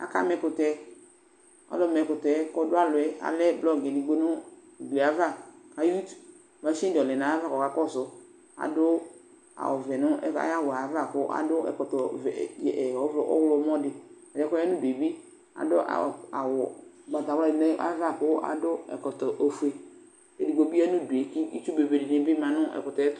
Akama ɛkʋtɛ : olʋ ma ɛkʋtɛ yɛ k'ɔdʋ alɔɛ blɔgɩ edigbo nʋ uglie ava , ay'uti Masɩnɩdɩ lɛ n'ayava k'ɔka kɔsʋ Adʋ awʋvɛ n'ay'awʋɛ ava k'akɔ ɛkɔtɔ vɛ e vɛ e ɔɣlɔmɔdɩ; ɛdɩɛ k'ɔya n'udue bɩ adʋ aw awʋ ʋgbatawladɩ n'ava kʋ akɔ ɛkɔtɔ ofue Edigbo bɩ n'udue , kʋ itsu bebe dɩnɩ bɩ ma nʋ ɛkʋtɛ yɛtʋ